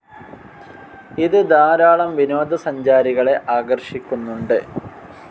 ഇത് ധാരാളം വിനോദസഞ്ചാരികളെ ആകർഷിക്കുന്നുണ്ട്.